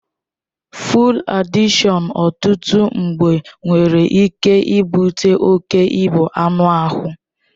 Fụụd adịkshọn ọtụtụ mgbe nwere ike ibute oke ịbu anụ ahụ.